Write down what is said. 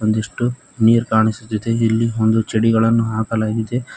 ಒಂದಿಷ್ಟು ನೀರ್ ಕಾಣಿಸುತ್ತಿದೆ ಇಲ್ಲಿ ಒಂದು ಚಡಿಗಳನ್ನು ಹಾಕಲಾಗಿದೆ.